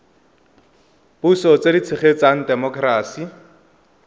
puso tse di tshegetsang temokerasi